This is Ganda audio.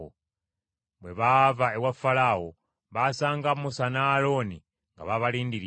Bwe baava ewa Falaawo, baasanga Musa ne Alooni nga babalindiridde.